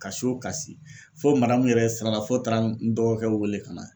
Ka so ka si fo yɛrɛ siranna fo taara n dɔgɔkɛw weele ka na.